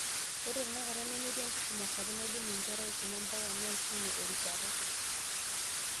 Ore tenakata, nemetii enkisuma sapuk naidim inkera aisuma mpaka neishunye erishata.